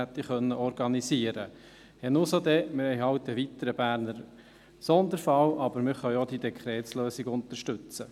Dann haben wir halt einen weiteren Berner Sonderfall, aber wir können auch die Dekretslösung unterstützen.